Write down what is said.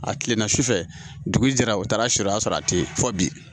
A kilenna su fɛ dugu jɛra u taara su o y'a sɔrɔ a tɛ fɔ bi